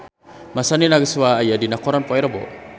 Masami Nagasawa aya dina koran poe Rebo